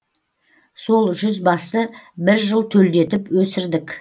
сол жүз басты бір жыл төлдетіп өсірдік